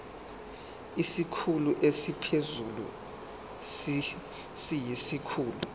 isikhulu esiphezulu siyisikhulu